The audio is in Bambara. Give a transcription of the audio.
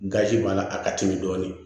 Gazi b'a la a ka timi dɔɔnin